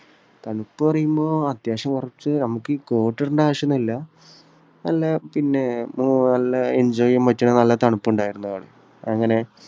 തണുപ്പ് എന്നു പറയുമ്പോൾ അത്യാവശ്യം കുറച്ച് നമുക്കീ coat ടണ്ട ആവശ്യം ഒന്നുമില്ല. നല്ല പിന്നെ അഹ് നല്ല enjoy ചെയ്യാൻ പറ്റുന്ന നല്ല തണുപ്പുണ്ടായിരുന്നു അവിടെ. അങ്ങനെ